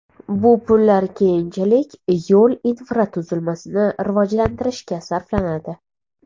Bu pullar keyinchalik yo‘l infratuzilmasini rivojlantirishga sarflanadi.